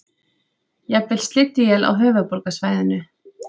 Jafnvel slydduél á höfuðborgarsvæðinu